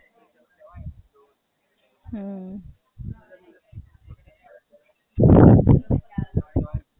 બહાર જવાનું ગમતું નહીં, આઉટ ઓફ બરોડા ને આઉટ ઓફ સ્ટેટ?